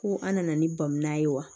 Ko an nana ni bamana ye wa